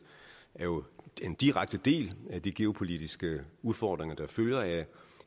jo er en direkte del af de geopolitiske udfordringer der følger af